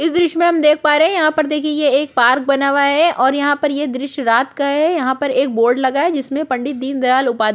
इस दॄश्य में हम देख पा रहै है यहाँ पर देखिए ये एक पार्क बना हुवा है और यहाँ पर ये दॄश्य रात का है यहाँ पर एक बोर्ड लगा है जिसमें पंडित दिनदयाल उपाध्याय --